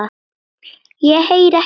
Ég heyri ekki í þér.